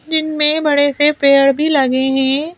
जिन में बड़े से पेड़ भी लगे हैं।